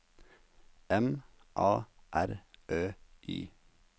M A R Ø Y